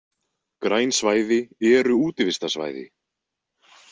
Græn svæði eru útivistarsvæði.